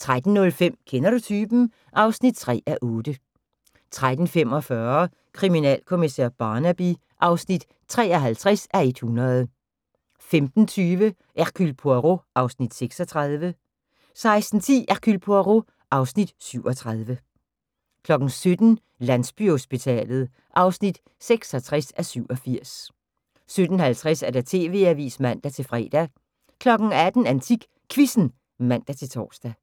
13:05: Kender du typen? (3:8) 13:45: Kriminalkommissær Barnaby (53:100) 15:20: Hercule Poirot (Afs. 36) 16:10: Hercule Poirot (Afs. 37) 17:00: Landsbyhospitalet (66:87) 17:50: TV-avisen (man-fre) 18:00: AntikQuizzen (man-tor)